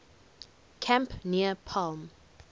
camp near palm